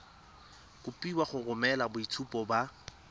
kopiwa go romela boitshupo ba